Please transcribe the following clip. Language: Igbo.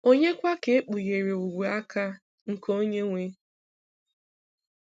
ònye kwa ka ekpughere ogwe-aka nke Onye-nwe?